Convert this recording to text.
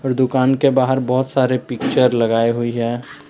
और दुकान के बाहर बहुत सारे पिक्चर लगाए हुई है।